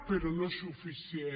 però no és suficient